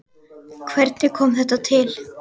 Hvernig kom þetta til?